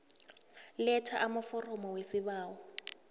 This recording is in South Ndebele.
letha amaforomo wesibawo